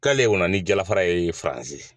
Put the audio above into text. K'ale wala ni jala fara ye faransi .